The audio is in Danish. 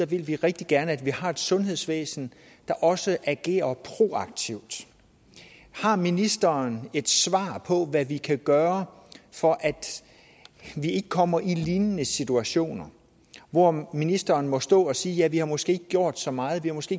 vil vi rigtig gerne at vi har et sundhedsvæsen der også agerer proaktivt har ministeren et svar på hvad vi kan gøre for at vi ikke kommer i lignende situationer hvor ministeren må stå og sige at vi måske ikke gjort så meget at vi måske